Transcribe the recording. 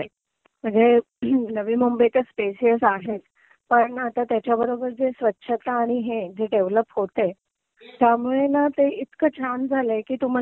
सगळे जे नवी मुंबई चे प्लेसेस आहेत पण आता त्याच्याबरोबर जे स्वच्छता आणि हे जे डेव्हेलप होतंय त्यामुळे ना ते इतकं छान झालंय की तुम्हाला